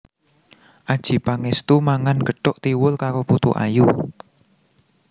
Adjie Pangestu mangan gethuk tiwul karo putu ayu